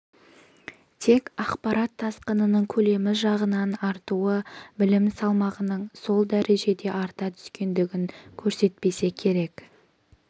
тек ақпарат тасқынының көлемі жағынан артуы білім салмағының сол дәрежеде арта түскендігін көрсетпесе керек